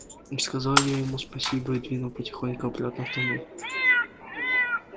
сказал я ему спасибо и двинул потихоньку обратно в туннель